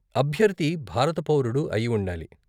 అభ్యర్థి భారత పౌరుడు అయి ఉండాలి.